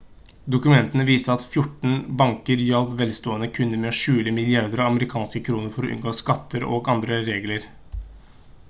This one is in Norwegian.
dokumentene viste at 14 banker hjalp velstående kunder med å skjule milliarder av amerikanske kroner for å unngå skatter og andre regler